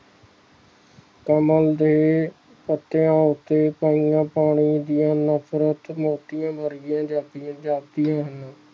ਕਮਲ ਦੇ ਪੱਤਿਆਂ ਉੱਤੇ ਪਾਈਆਂ ਪਾਣੀ ਦਿਆਂ ਨਾਸਰਤ ਮੋਤੀਆਂ ਵਰਗੀਆਂ ਜਾਪਦੀਆਂ ਹਨ